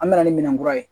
An bɛna ni minɛn kura ye